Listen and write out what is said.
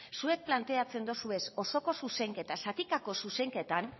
zuek planteatzen dituzue osoko zuzenketa zatikako zuzenketan